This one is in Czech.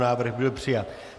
Návrh byl přijat.